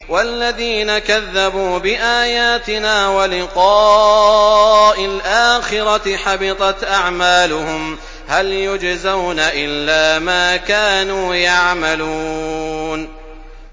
وَالَّذِينَ كَذَّبُوا بِآيَاتِنَا وَلِقَاءِ الْآخِرَةِ حَبِطَتْ أَعْمَالُهُمْ ۚ هَلْ يُجْزَوْنَ إِلَّا مَا كَانُوا يَعْمَلُونَ